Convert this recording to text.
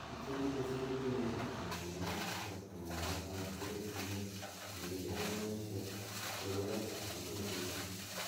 Biik �chegikosir kenyishek 70 komagaat matkoregunee miligramishek 800 eng betuut